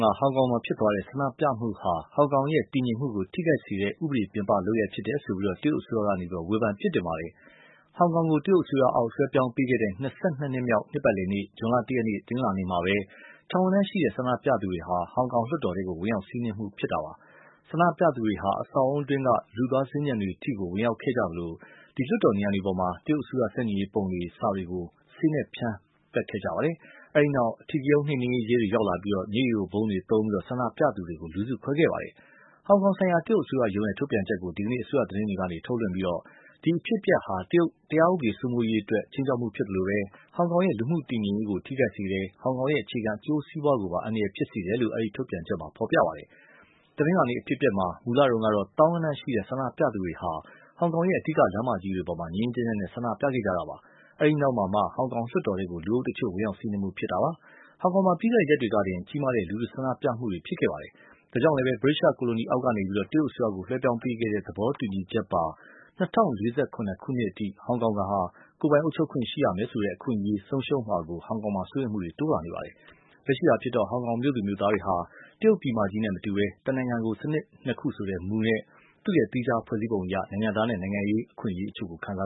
က ဟောင်ကောင်ဖြစ်သွားတဲ့ ဆန္ဒပြမှုဟာ ဟောင်ကောင်ရဲ့ တည်ငြိမ်မှုကို ထိခိုက်စေတဲ့ ဥပဒေပြင်ပလုပ်ရပ် ဖြစ်တယ်ဆိုပြီး တရုတ်အစိုးရက ဝေဖန်ပြစ်တင်လိုက်ပါတယ်။ ဟောင်ကောင်ကို တရုတ်အစိုးရအောက် လွဲှပြောင်းပေးခဲ့တဲ့ ၂၂ နှစ်မြောက် နှစ်ပတ်လည်နေ့ ဇွန်လ ၁ ရက်နေ့မှာပဲ ထောင်ဂဏန်းရှိတဲ့ ဆန္ဒပြသူတွေဟာ ဟောင်ကောင်လွှတ်တော်ထဲ ဝင်ရောက်စီးနင်းခဲ့ကြတာပါ။ ဆန္ဒပြသူတွေဟာ အဆောက်အဦးတွင်းက လူသွားစင်္ကြန်တွေထိ ဝင်ရောက်ခဲ့ကြသလို နံရံတွေပေါ်မှာ တရုတ်အစိုးရ ဆန့်ကျင်ရေးပုံတွေ စာတွေကို ဆေးနဲ့ဖြန်း ရေးခဲ့ကြပါတယ်။ အဲဒီနောက် အဓိကရုဏ်းနှိမ်နင်းရေး ရဲတွေ ရောက်လာပြီး မျက်ရည်ယိုဗုံးတွေသုံးပြီး ဆန္ဒပြသူတွေကို လူစုခွဲခဲ့ရပါတယ်။ ဟောင်ကောင်ဆိုင်ရာ တရုတ်အစိုးရရုံးရဲ့ ထုတ်ပြန်ချက်ကို ဒီကနေ့ အစိုးရသတင်းတွေကနေ ထုတ်လွှင့်ပြီး ဒီအဖြစ်အပျက်ဟာ တရားဥပဒေစိုးမိုးမှုအတွက် ခြိမ်းခြောက်မှုဖြစ်သလို ဟောင်ကောင်ရဲ့ လူမှုတည်ငြိမ်ရေးကို ထိခိုက်စေတယ် ဟောင်ကောင်ရဲ့ အခြေခံအကျိုးစီးပွားကိုပါ အန္တရာယ်ဖြစ်စေတယ်လို့ အဲဒီ ထုတ်ပြန်ချက်မှာ ဖော်ပြပါတယ်။ တနင်းလာၤနေ့ အဖြစ်အပျက်မှာ မူလတုန်းကတော့ သောင်းဂဏန်းရှိတဲ့ ဆန္ဒပြသူတွေဟာ ဟောင်ကောင်ရဲ့ အဓိကလမ်းမကြီးတွေပေါ်မှာ ငြိမ်းငြိမ်းချမ်းချမ်း ဆန္ဒပြခဲ့ကြတာပါ။ အဲဒီနောက်မှာမှ ဟောင်ကောင်လွှတ်တော်ထဲကို လူအုပ်တချို့ ဝင်ရောက်စီးနင်းမှုဖြစ်တာပါ။ ဟောင်ကောင်မှာ ပြီးခဲ့တဲ့ရက်တွေကတင် ကြီးမားတဲ့ လူထုဆန္ဒပြမှုတွေ ရှိခဲ့ပါတယ်။ ဒါကြောင့်လည်း ဗြိတိသျှကိုလိုနီအောက်ကနေ တရုတ်အစိုးရကို လွဲှပြောင်းပေးခဲ့တဲ့ သဘောတူညီချက်ပါ ၂၀၄၇ ခုနှစ်အထိ ဟောင်ကောင်ဟာ ကိုယ်ပိုင်အုပ်ချုပ်ခွင့် ရှိရမယ်ဆိုတဲ့ အခွင့်အရေး ဆုံးရှုံးမှာကို ဟောင်ကောင်မှာ စိုးရိမ်မှုတွေ တိုးလာနေပါတယ်။ လက်ရှိအားဖြင့်တော့ ဟောင်ကောင်မြို့သူ မြို့သားတွေဟာ၊ တရုတ်ပြည်မကြီးနဲ့ မတူဘဲ “တနိုင်ငံ စနစ်နှစ်ခု” ဆိုတဲ့ မူနဲ့ သူ့သီးခြား ဖွဲ့စည်းပုံအရ နိုင်ငံသားနဲ့ နိုင်ငံရေးအခွင့်အရေးအချို့ ခံစာ